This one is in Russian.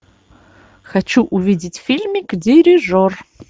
хочу увидеть фильмик дирижер